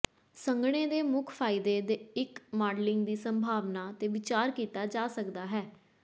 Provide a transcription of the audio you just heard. ਸੰਘਣੇ ਦੇ ਮੁੱਖ ਫਾਇਦੇ ਦੇ ਇੱਕ ਮਾਡਲਿੰਗ ਦੀ ਸੰਭਾਵਨਾ ਤੇ ਵਿਚਾਰ ਕੀਤਾ ਜਾ ਸਕਦਾ ਹੈ